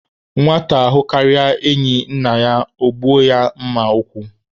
Nwata hụkarịa enyi nne ya, ọ gbuo ya mma ekwu.